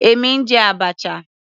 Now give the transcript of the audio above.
Èmi ń jẹ abacha.